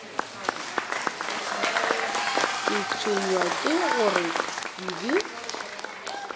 ke tshwenywa ke gore kobi